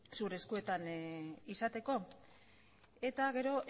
zure eskuetan izateko eta gero